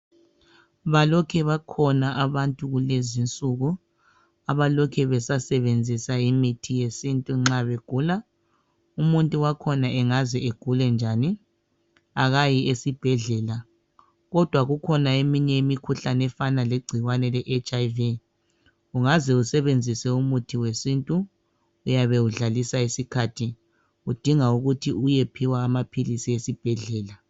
Balokhe bakhona abantu kulezi nsuku abalokhe basasebenzisa imithi yesintu nxa begula ,umuntu wakhona engaze agule njani akayi esibhedlela kodwa kukhona eminye imikhuhlane efana legcikwanwe le"hiv" ungaze usebenzise umuthi wesintu uyabe udlalisa isikhathi kudinga ukuthi uyephiwa amaphilisi esibhedlela.